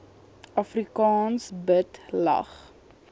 afrikaans bid lag